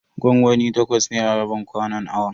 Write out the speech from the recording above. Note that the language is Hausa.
Gwangwami takwas ne a rabin kwanon awon.